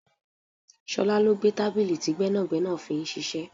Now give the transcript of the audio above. Ṣọlá ló gbé tábìlì tí gbẹ́nàgbẹ́nà fi ń ṣiṣẹ́.